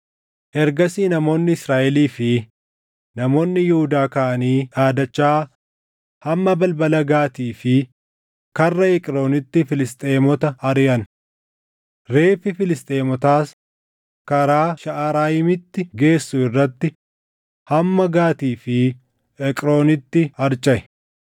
Ergasii namoonni Israaʼelii fi namoonni Yihuudaa kaʼanii dhaadachaa hamma balbala Gaatii fi karra Eqroonitti Filisxeemota ariʼan. Reeffi Filisxeemotaas karaa Shaʼarayiimitti geessu irratti hamma Gaatii fi Eqroonitti harcaʼe.